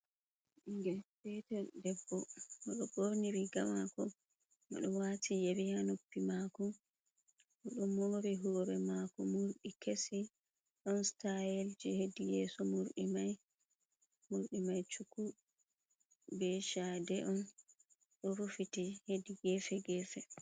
Bingel petel debbo odo borni rigamako, odo wati yeriha noppi mako, odo mori hore mako murdi kesi, ɗon stayel ji hedi yeso murɗi mai, mordi Mai cuku be chade on, ɗo rufiti hedi gefe gefe.